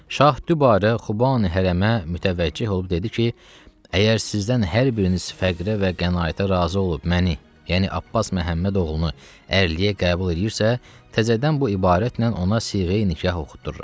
Şah dübarə Xubani hərəmə mütəvəcih olub dedi ki, əgər sizdən hər biriniz fəqirə və qənaətə razı olub məni, yəni Abbas Məhəmməd oğlu ərliyə qəbul eləyirsə, təzədən bu ibarətlə ona siğəyə nikah oxuduruq.